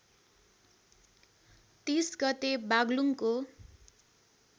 ३० गते बागलुङको